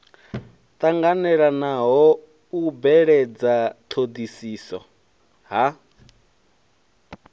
tanganelaho u beledza thodisiso ha